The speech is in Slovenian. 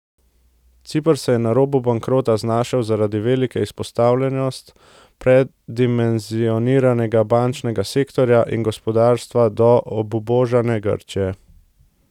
Ciper se je na robu bankrota znašel zaradi velike izpostavljenost predimenzioniranega bančnega sektorja in gospodarstva do obubožane Grčije.